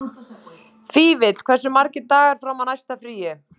Vífill, hversu margir dagar fram að næsta fríi?